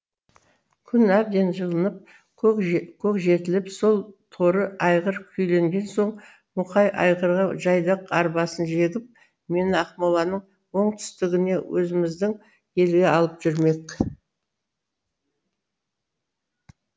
күн әбден жылынып көк жетіліп сол торы айғыр күйленген соң мұқай айғырға жайдақ арбасын жегіп мені ақмоланың оңтүстігіне өзіміздің елге алып жүрмек